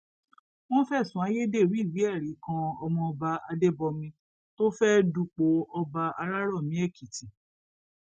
wọn fẹsùn ayédèrú ìwéẹrí kan ọmọọba adébọmi tó fẹẹ dupò ọba árárómí èkìtì